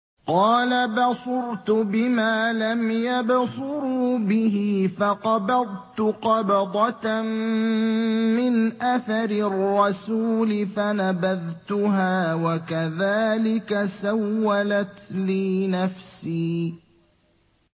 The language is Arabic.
قَالَ بَصُرْتُ بِمَا لَمْ يَبْصُرُوا بِهِ فَقَبَضْتُ قَبْضَةً مِّنْ أَثَرِ الرَّسُولِ فَنَبَذْتُهَا وَكَذَٰلِكَ سَوَّلَتْ لِي نَفْسِي